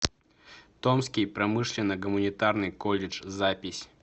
томский промышленно гуманитарный колледж запись